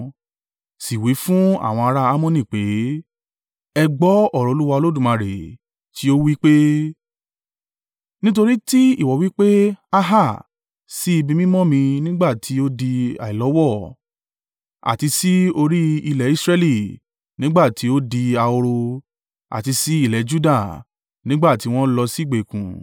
Sì wí fún àwọn ará Ammoni pé, ‘Ẹ gbọ́ ọ̀rọ̀ Olúwa Olódùmarè tí ó wí pé. Nítorí tí ìwọ wí pé, “Á hà!” Sí ibi mímọ́ mi nígbà tí ó di àìlọ́wọ̀ àti sí orí ilẹ̀ Israẹli nígbà tí ó di ahoro; àti sí ilẹ̀ Juda, nígbà tí wọ́n lọ sí ìgbèkùn,